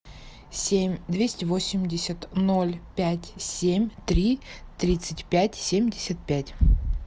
семь двести восемьдесят ноль пять семь три тридцать пять семьдесят пять